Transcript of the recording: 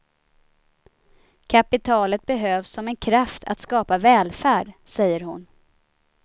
Kapitalet behövs som en kraft att skapa välfärd, säger hon.